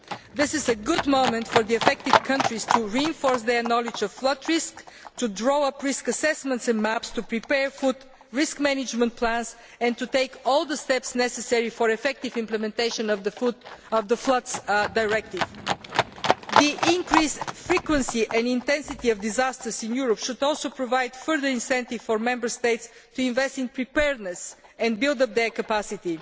This is a good moment for the affected countries to reinforce their knowledge of flood risks, to draw up risk assessments and maps, to prepare flood risk management plans, and to take all the steps necessary for effective implementation of the Floods Directive. The increased frequency and intensity of disasters in Europe should also provide a further incentive for Member States to invest in preparedness and build up their capacity.